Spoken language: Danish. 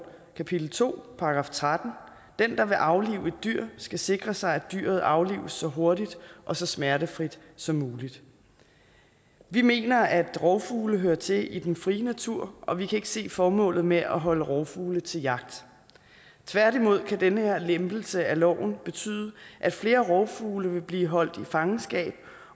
kapitel to § 13 den der vil aflive et dyr skal sikre sig at dyret aflives så hurtigt og så smertefrit som muligt vi mener at rovfugle hører til i den frie natur og vi kan ikke se formålet med at holde rovfugle til jagt tværtimod kan den her lempelse af loven betyde at flere rovfugle vil blive holdt i fangenskab